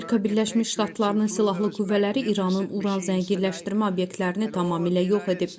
Amerika Birləşmiş Ştatlarının silahlı qüvvələri İranın Uran zənginləşdirmə obyektlərini tamamilə yox edib.